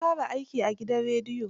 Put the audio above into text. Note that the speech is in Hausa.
Na fara aiki a gidan rediyo.